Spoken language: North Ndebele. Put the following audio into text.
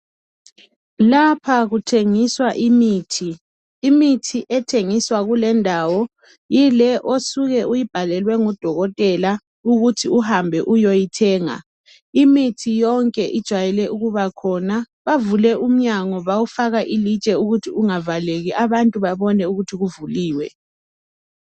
Lapha kuthengiswa imithi. Imithi ethengiswa kulendawo yile osuke uyibhalelwe ngudokotela ukuthi uhambe uyoyithenga. Imithi yonke ijwayele ukuba khona. Bavule umnyango bawufaka ilitshe ukuthi ungavaleki abantu babone ukuthi kuvuliwe.